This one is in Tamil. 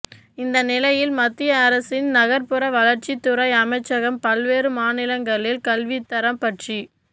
இந்த நிலையில் மத்திய அரசின் நகர்ப்புற வளர்ச்சி துறை அமைச்சகம் பல்வேறு மாநிலங்களில் கல்வித்தரம் பற்றி